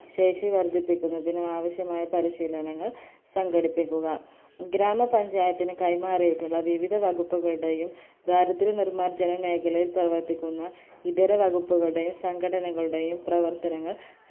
ശേഷി വർധിപ്പിക്കുന്നതിനും ആവശ്യമായ പരിശീലനങ്ങൾ സംഘടിപ്പിക്കുക ഗ്രാമപഞ്ചായത്തിന് കൈമാറിയിട്ടുള്ള വിവിധവകുപ്പുകളുടെയും ദാരിദ്രനിർമാർജനമേഖലയിൽ പ്രവർത്തിക്കുന്ന ഇതര വകുപ്പുകളുടെയും സംഘടനകളുടെയും പ്രവർത്തനങ്ങൾ